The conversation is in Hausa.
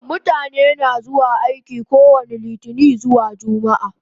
Mutane na zuwa aiki kowani litinin zuwa jumaa